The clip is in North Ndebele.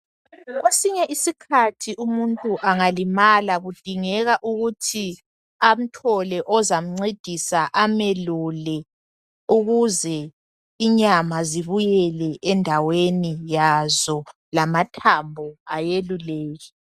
Kwesinye isikhathi umuntu angalimala kudingeka ukuthi amthole ozamncedisa amelule ukuze inyama zibuyele endaweni yazo lamathambo ayeluleke.